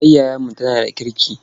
Matar yayanmu tana da kirki.